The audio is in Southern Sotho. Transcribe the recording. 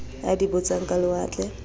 a di botsang ka lewatle